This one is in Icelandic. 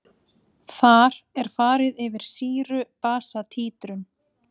Þar er farið yfir sýru-basa títrun.